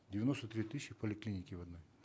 девяносто три тысячи в поликлинике в одной